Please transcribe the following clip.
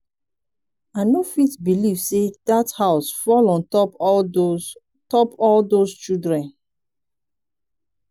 i no fit believe say dat house fall on top all those top all those children